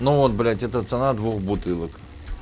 ну вот блядь это цена двух бутылок